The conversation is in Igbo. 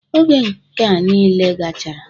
Oge nkea nile gachara,